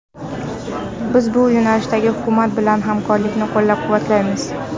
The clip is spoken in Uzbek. Biz bu yo‘nalishdagi hukumat bilan hamkorlikni qo‘llab-quvvatlaymiz.